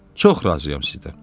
Çox razıyam sizdən.